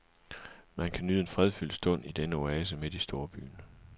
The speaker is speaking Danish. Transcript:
Man kan nyde en fredfyldt stund i denne oase midt i storbyen.